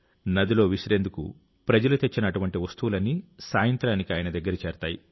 నదిలో విసిరేందుకు ప్రజలు తెచ్చిన అటువంటి వస్తువులన్నీ సాయంత్రానికి ఆయన దగ్గర చేరతాయి